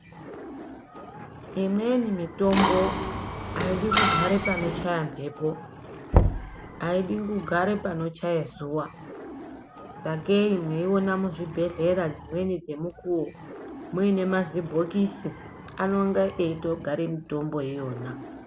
Imweni mitombo aidi kugare panochaye mphepo, aidi kugare panochaye zuwa, sakei mweiona muzvibhedhlera dzimweni dzemikuwo, muine mazibhokisi ,anonga eitogare mitombo iyona.